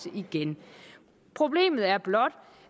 problemet er blot